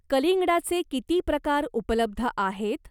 कलिंगडाचे किती प्रकार उपलब्ध आहेत?